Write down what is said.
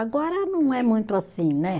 Agora não é muito assim, né?